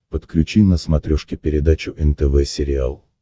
подключи на смотрешке передачу нтв сериал